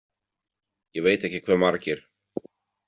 Ég veit ekki hve margir.